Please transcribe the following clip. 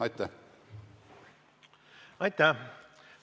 Aitäh!